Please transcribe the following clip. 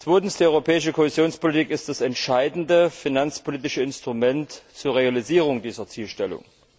Zweitens Die europäische Kohäsionspolitik ist das entscheidende finanzpolitische Instrument zur Realisierung dieser Zielstellung.